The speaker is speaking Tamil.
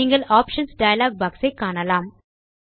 நீங்கள் ஆப்ஷன்ஸ் டயலாக் பாக்ஸ் ஐ காணலாம்